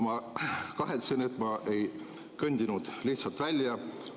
Ma kahetsen, et ma ei kõndinud lihtsalt välja.